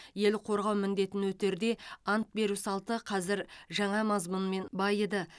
ел қорғау міндетін өтерде ант беру салты қазір жаңа мазмұнмен байыды